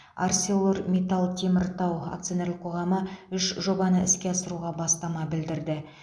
арселормитал теміртау акционерлік қоғамы үш жобаны іске асыруға бастама білдірді